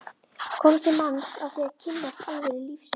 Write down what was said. komist til manns á því að kynnast alvöru lífsins.